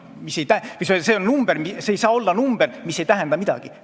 See ei saa olla number, mis ei tähenda midagi.